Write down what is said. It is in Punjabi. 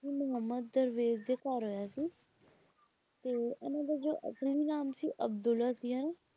ਸ਼ਾਹ ਮੁਹੰਮਦ ਦਰਵੇਸ਼ ਦੇ ਘਰ ਹੋਇਆ ਸੀ ਤੇ ਇਹਨਾਂ ਦਾ ਜੋ ਆਪਣੇ ਵਿਧਾਨ ਸੀ ਅਬਦੁਲਾ ਸੀ ਹਨਾਂ,